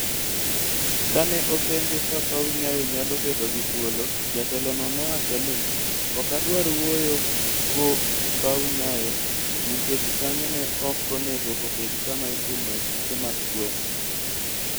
Ka ne openje ka paw Nyayo nyalo bedo gi thuolo, jatelono nowacho ni: "Ok adwar wuoyo kuo paw Nyayo nikech kanyo ne ok onego obed kama itimoe tuke mag gweng'."